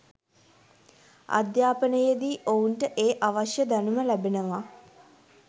අධ්‍යාපනයේදී ඔවුන්ට ඒ අවශ්‍ය දැනුම ලැබෙනවා